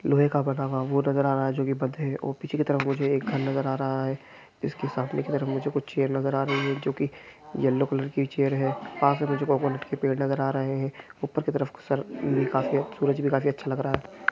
लोहे का बना हुआ वो नज़र आ रहा है जोकि बंद है और पीछे की तरफ मुझे एक घर नज़र आ रहा है इसके सामने की तरफ मुझे कुछ चेयर नज़र आ रही है जोकि येलो कलर की चेयर है वहाँ से मुझे कोकोनेट के पेड़ नज़र आ रहे है ऊपर की तरफ सर का से सूरज भी काफी अच्छा लग रहा है।